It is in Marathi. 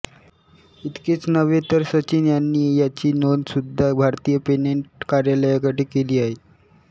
इतकेच नव्हे तर सचिन यांनी याची नोंद सुद्धा भारतीय पेटंट कार्यालयाकडे केली आहेत